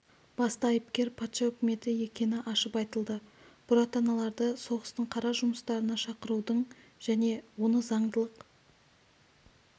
басты айыпкер патша үкіметі екені ашып айтылды бұратаналарды соғыстың қара жұмыстарына шақырудың және оны заңдылық